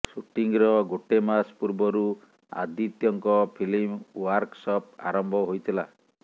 ଶୁଟିଂର ଗୋଟେ ମାସ ପୂର୍ବରୁ ଆଦିତ୍ୟଙ୍କ ଫିଲ୍ମ ୱାର୍କସପ ଆରମ୍ଭ ହୋଇଥିଲା